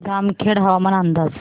जामखेड हवामान अंदाज